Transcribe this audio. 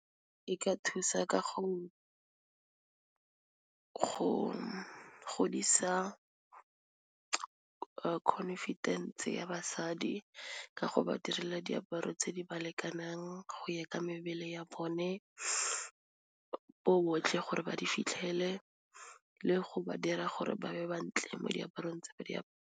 E ka thusa ka go godisa confidence ya basadi ka go ba dirla diaparo tse di ba lekanang go ya ka mebele ya bone bo botlhe gore ba di fitlhele, le go ba dira gore ba be ba ntle mo diaparong tse ba .